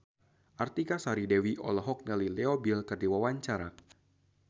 Artika Sari Devi olohok ningali Leo Bill keur diwawancara